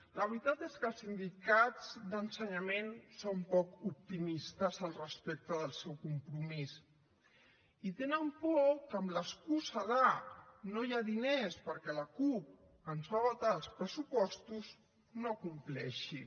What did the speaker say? la veritat és que els sindicats d’ensenyament són poc optimistes al respecte del seu compromís i tenen por que amb l’excusa de no hi ha diners perquè la cup ens va vetar els pressupostos no compleixin